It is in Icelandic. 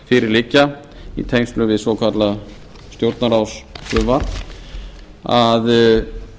fyrir liggja í tengslum við svokallað stjórnarráðsfrumvarp að